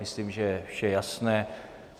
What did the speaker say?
Myslím, že je vše jasné.